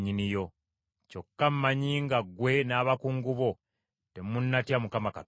Kyokka mmanyi nga ggwe n’abakungu bo temunnatya Mukama Katonda.”